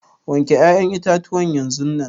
wanke ya'yan itatuwan yanzunnan.